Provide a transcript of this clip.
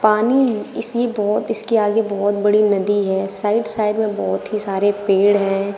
पानी इसी बहोत इसके आगे बहोत बड़ी नदी है साइड साइड में बहोत ही सारे पेड़ हैं।